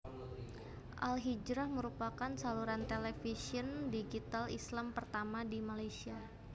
AlHijrah merupakan saluran televisyen digital Islam pertama di Malaysia